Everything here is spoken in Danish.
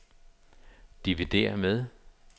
dividér med